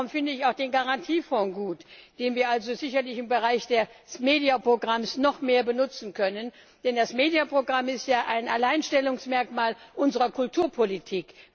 Darum finde ich auch den Garantiefonds gut, den wir also sicherlich im Bereich des MEDIA Programms noch mehr benutzen können, denn das MEDIA Programm ist ja ein Alleinstellungsmerkmal unserer Kulturpolitik.